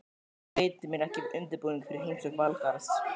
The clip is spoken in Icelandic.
Allavega veitir mér ekki af undirbúningi fyrir heimsókn Valgarðs.